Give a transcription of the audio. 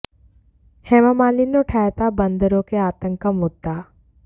हेमामालिनी ने उठाया था बंदरों के आतंक का मुद्दा